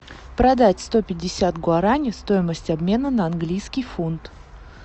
продать сто пятьдесят гуарани стоимость обмена на английский фунт